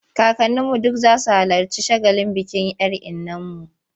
Kakanninu duk za su halarci shagalin bikin 'yar innarmu.